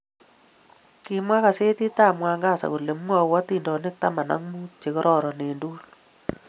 Kimwa kasetii ab Mwangaza kole mwou adintonik tama ak muut che kororonen eng tugul